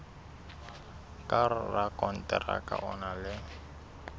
ka rakonteraka o na le